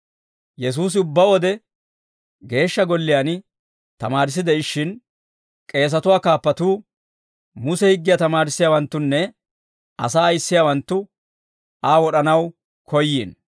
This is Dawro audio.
Yesuusi ubbaa wode geeshsha golliyaan tamaarissi de'ishshin, k'eesatuwaa kaappatuu, Muse higgiyaa tamaarissiyaawanttunne asaa ayissiyaawanttu Aa wod'anaw koyyiino.